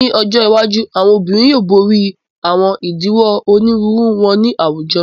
Ni ojo iwaju, awọn obirin yoo bori awọn idiwọn oniruuru wọn ni awujọ